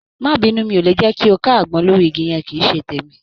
Má bínú, mi ò lè jẹ́ kí o ká àgbọn lórí igi yẹn. Kì í ṣe tèmi.